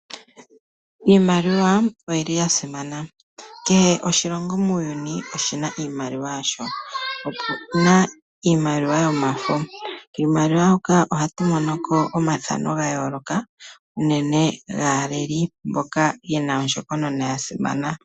Iimaliwa oyili yasimana, kehe oshilongo muuyuni oshina iimaliwa yasho. Opuna iimaliwa yomafo. Kiimaliwa hoka ohatu monoko omathano ga yooloka, unene gaa leli mboka yena ondjokonona ya simana.